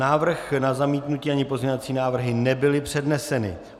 Návrh na zamítnutí, ani pozměňovací návrhy nebyly předneseny.